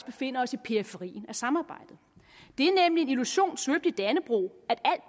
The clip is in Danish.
befinder os i periferien af samarbejdet det er nemlig en illusion svøbt i dannebrog at